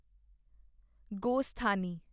ਗੋਸਥਾਨੀ